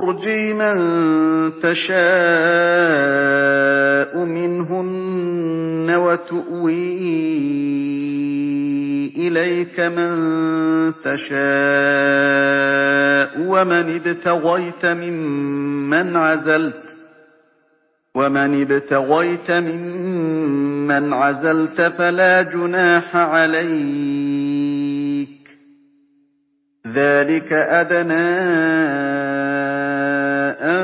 ۞ تُرْجِي مَن تَشَاءُ مِنْهُنَّ وَتُؤْوِي إِلَيْكَ مَن تَشَاءُ ۖ وَمَنِ ابْتَغَيْتَ مِمَّنْ عَزَلْتَ فَلَا جُنَاحَ عَلَيْكَ ۚ ذَٰلِكَ أَدْنَىٰ أَن